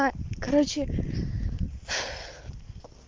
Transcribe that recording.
а короче